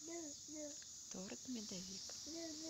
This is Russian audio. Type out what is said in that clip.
торт медовик